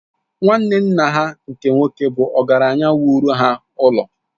Nwanne nna ha nke nwoke bụ ọgaranya wuru ha ụlọ